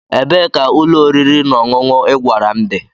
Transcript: Ebee ka ụlọ oriri na ọṅụṅụ ị gwara m dị?